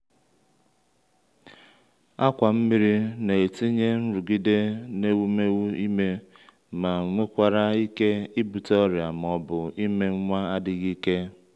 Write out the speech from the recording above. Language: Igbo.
akwà nmiri na-etinye nrụgide n’ewumewụ ime ma nwekwara ike ibute ọrịa ma ọ bụ ime nwa adịghị ike.